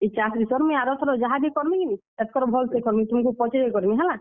ମୁଇଁ ଆର ଥର ଯାହାବି କର୍ ମି କିନି, ଏତ୍ କର୍ ଭଲ୍ ସେ କର୍ ମି ତୁମ୍ କୁ ପଚ୍ ରେଇ କରି କର୍ ମି ହେଲା।